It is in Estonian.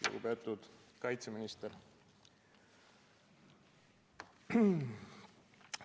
Lugupeetud kaitseminister!